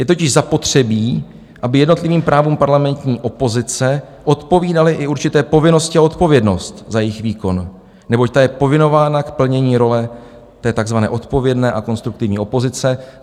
Je totiž zapotřebí, aby jednotlivým právům parlamentní opozice odpovídaly i určité povinnosti a odpovědnost za jejich výkon, neboť ta je povinována k plnění role té tzv. odpovědné a konstruktivní opozice.